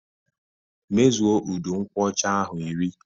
Mezue udu nkwocha ahụ iri!